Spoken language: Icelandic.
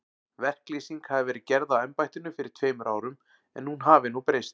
Verklýsing hafi verið gerð á embættinu fyrir tveimur árum, en hún hafi nú breyst.